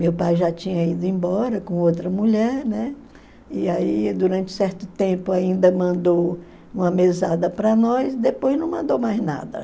Meu pai já tinha ido embora com outra mulher, né, e aí durante certo tempo ainda mandou uma mesada para nós, depois não mandou mais nada.